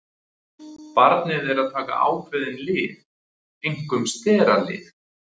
Barnið er að taka ákveðin lyf, einkum steralyf.